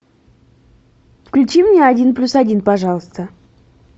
включи мне один плюс один пожалуйста